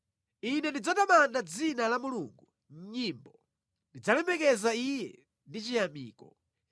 Ine ndidzatamanda dzina la Mulungu mʼnyimbo, ndidzalemekeza Iye ndi chiyamiko.